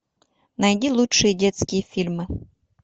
найди лучшие детские фильмы